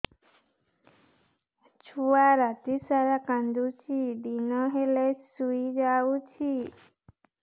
ଛୁଆ ରାତି ସାରା କାନ୍ଦୁଚି ଦିନ ହେଲେ ଶୁଇଯାଉଛି